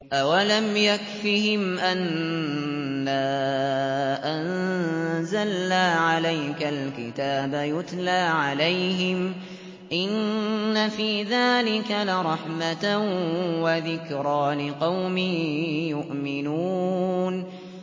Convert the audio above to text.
أَوَلَمْ يَكْفِهِمْ أَنَّا أَنزَلْنَا عَلَيْكَ الْكِتَابَ يُتْلَىٰ عَلَيْهِمْ ۚ إِنَّ فِي ذَٰلِكَ لَرَحْمَةً وَذِكْرَىٰ لِقَوْمٍ يُؤْمِنُونَ